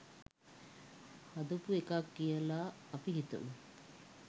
හදපු එකක් කියලා අපි හිතමු.